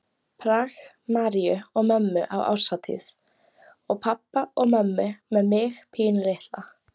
Prag, Maríu og mömmu á árshátíð og pabba og mömmu með mig pínulitla.